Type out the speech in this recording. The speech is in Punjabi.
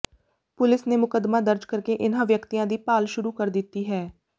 ਪੁਲਿਸ ਨੇ ਮੁਕੱਦਮਾ ਦਰਜ ਕਰਕੇ ਇਨ੍ਹਾਂ ਵਿਅਕਤੀਆਂ ਦੀ ਭਾਲ ਸ਼ੁਰੂ ਕਰ ਦਿੱਤੀ ਹੈ